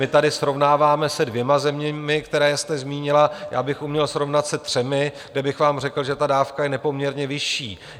My tady srovnáváme se dvěma zeměmi, které jste zmínila, já bych uměl srovnat se třemi, kde bych vám řekl, že ta dávka je nepoměrně vyšší.